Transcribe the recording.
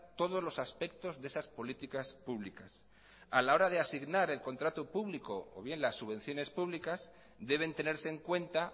todos los aspectos de esas políticas públicas a la hora de asignar el contrato público o bien las subvenciones públicas deben tenerse en cuenta